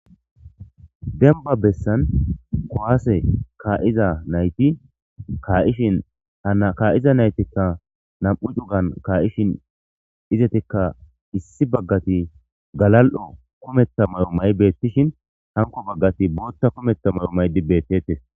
denba bessan kowaase kaa7iza nayti kaa7ishin hana kaa7iza naytikka nam7u cugan kaa7ishin izetikka issi baggati galal7o kumetta may7o may beettishin hanko baggati bootta kumetta may7o may dibbettetes